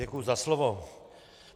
Děkuji za slovo.